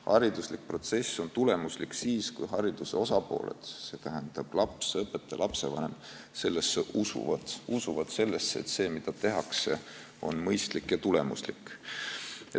Haridusprotsess on tulemuslik siis, kui hariduse osapooled, st laps, õpetaja ja lapsevanem, sellesse usuvad, kui nad usuvad sellesse, et see, mida tehakse, on mõistlik ja tulemuslik.